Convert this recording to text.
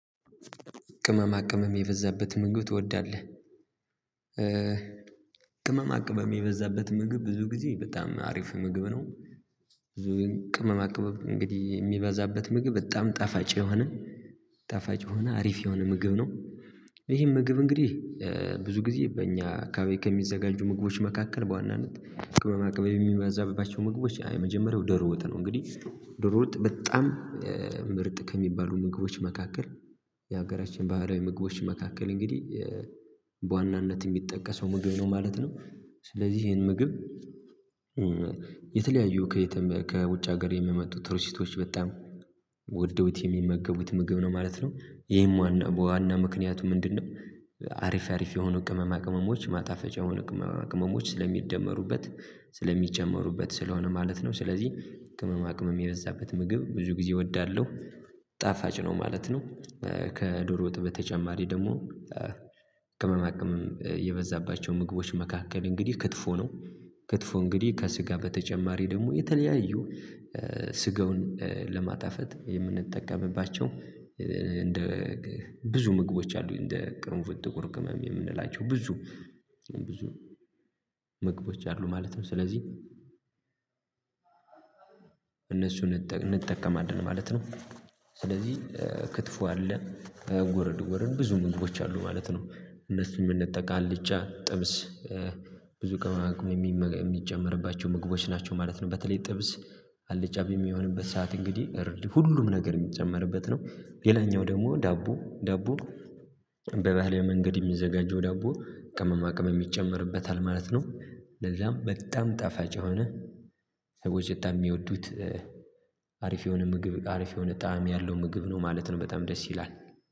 ቅመማ ቅመም የበዛበት ምግብ ትወዳለህ? ቅመማ ቅመም የበዛበት ምግብ ብዙ ጊዜ በጣም አሪፍ ምግብ ነው። ብዙ ግን ቅመማ ቅመም እንግዲህ የሚበዛበት ምግብ በጣም ጠፋጭ የሆነ ጠፋጭ የሆነ አሪፍ የሆነ ምግብ ነው። ይሄን ምግብ እንግዲህ ብዙ ጊዜ በእኛ ከቤት ከሚዘጋጁ ምግቦች መካከል በዋናነት ቅመማ ቅመም የሚያዛብባቸው ምግቦች የመጀመሪያው ወጥ ነው እንግዲህ ደሮ ወጥ በጣም ምርጥ ከሚባሉ ምግቦች መካከል የሀገራችን ባህላዊ ምግቦች መካከል እንግዲህ በዋናነት የሚጠቀሰው ምግብ ነው ማለት ነው። ስለዚህ ይሄን ምግብ የተለያዩ ከየትም ከውጭ ሀገር የሚመጡ ቱሪስቶች በጣም ወደውት የሚመገቡት ምግብ ነው ማለት ነው። ይሄም ዋና ዋና ምክንያቱ ምንድነው? አሪፍ አሪፍ የሆኑ ቅመማ ቅመሞች ማጣፈጫ የሆኑ ቅመማ ቅመሞች ስለሚደመሩበት ስለሚጨመሩበት ስለሆነ ማለት ነው። ስለዚህ ቅመማ ቅመም የበዛበት ምግብ ብዙ ጊዜ እወዳለሁ። ጣፋጭ ነው ማለት ነው። ከዶሮ ወጥ በተጨማሪ ደግሞ ከመማቅመም የበዛባቸው ምግቦች መካከል እንግዲህ ክትፎ ነው። ክትፎ እንግዲህ ከስጋ በተጨማሪ ደግሞ የተለያዩ ስጋውን ለማጣፈት የምንጠቀምባቸው እንደ ብዙ ምግቦች አሉ እንደ ቅርንፍት ጥቁር ቅመም የምንላቸው ብዙ ብዙ ምግቦች አሉ ማለት ነው። ስለዚህ እነሱን እንጠቀማለን ማለት ነው። ስለዚህ ክትፎ አለ ጎረድ ጎረድ ብዙ ምግባች አሉ ማለት ነው። እነሱን የምንጠቅ አልጫ ጥብስ ብዙ ቅመማ ቅመም የሚጨመርባቸው ምግቦች ናቸው ማለት ነው። በተለይ ጥብስ አልጫ በሚሆንበት ሰዓት እንግዲህ ሁሉም ነገር የሚጨመርበት ነው። ሌላኛው ደግሞ ዳቦ ዳቦ በባህላዊ መንገድ የሚዘጋጀው ዳቦ ቅመማ ቅመም የሚጨመርበት አለ ማለት ነው። ለዛም በጣም ጠፋጭ የሆነ ሰዎች በጣም የሚወዱት አሪፍ የሆነ ምግብ አሪፍ የሆነ ጣዕም ያለው ምግብ ነው ማለት ነው። በጣም ደስ ይላል።